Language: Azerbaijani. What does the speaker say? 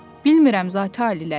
Bilmirəm, Zati-aliləri.